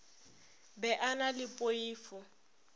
be a na le poifo